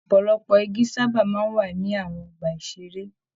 Ọpọlọpọ igi sábà ń wà ní àwọn ọgbà-ìṣeré.